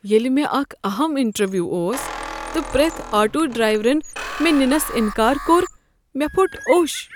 ییٚلہ مےٚ اکھ اہم انٹرویُو اوس تہٕ پرٛیتھ آٹو ڈرٛیورن مےٚ ننس انکار کوٚر، مےٚ پھوٚٹ اوٚش۔